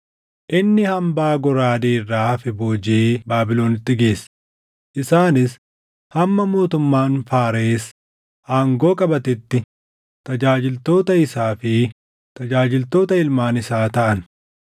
Inni hambaa goraadee irraa hafe boojiʼee Baabilonitti geesse; isaanis hamma mootummaan Faares aangoo qabatetti tajaajiltoota isaa fi tajaajiltoota ilmaan isaa taʼan.